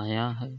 आया है।